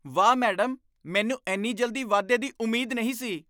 ਵਾਹ, ਮੈਡਮ! ਮੈਨੂੰ ਇੰਨੀ ਜਲਦੀ ਵਾਧੇ ਦੀ ਉਮੀਦ ਨਹੀਂ ਸੀ!